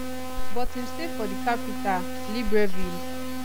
but im stay for di capital libreville